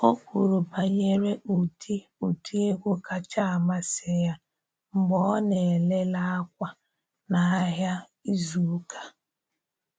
O kwuru banyere ụdị ụdị egwu kacha amasị ya mgbe ọ na ele le akwa n’ahịa izu ụka.